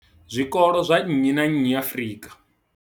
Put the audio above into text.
zwikolo zwa nnyi na nnyi Afrika.